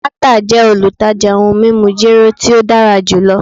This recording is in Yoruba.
Martha jẹ olutaja ohun mimu jero ti o dara julọ